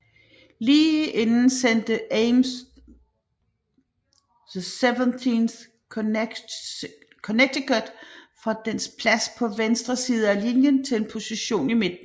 Lige inden sendte Ames det 17th Connecticut fra dens plads på venstre side af linjen til en position i midten